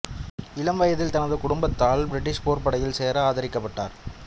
இளம் வயதில் தனது குடும்பத்தால் பிரிட்டிஷ் போர்ப்படையில் சேர ஆதரிக்கப்பட்டார்